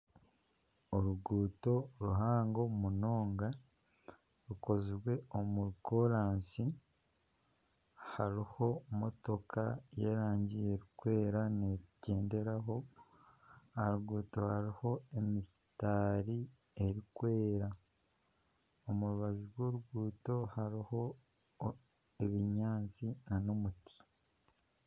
oruguuto ruhango munonga rukozirwe omu koraasi hariho motooka y'erangi erikwera neegyenderaho aha ruguuto hariho emisitaari y'erangi erikwera aha rubaju rw'oruguuto hari ebyatsi nana omuti